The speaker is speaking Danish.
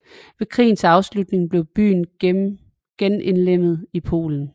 Ved krigens afslutning blev byen genindlemmet i Polen